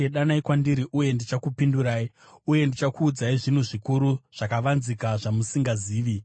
‘Danai kwandiri uye ndichakupindurai uye ndichakuudzai zvinhu zvikuru zvakavanzika zvamusingazivi.’